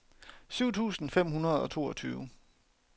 syv tusind fem hundrede og toogtyve